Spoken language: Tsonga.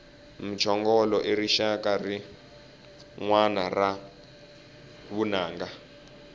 mchongolo i rixaka rinwani ra vunanga